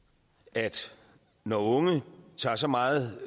at når unge tager så meget